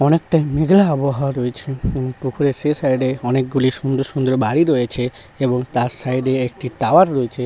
অনেক টাইম মেঘলা আবহাওয়া রয়েছে উম পুকুর এর সে সাইড - এ অনেকগুলি সুন্দর সুন্দর বাড়ি রয়েছে এবং তার সাইড এ একটি টাওয়ার রয়েছে।